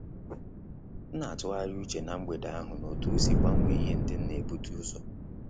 M na-atughari uche na mgbede ahụ na-otu osi gbanwee ihe ndị m na-ebuta uzo